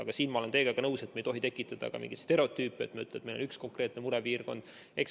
Aga selles olen ma teiega nõus, et me ei tohi tekitada mingeid stereotüüpe, et meil on üks konkreetne murepiirkond.